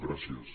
gràcies